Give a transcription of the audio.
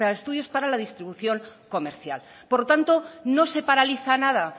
estudios para la distribución comercial por lo tanto no se paraliza nada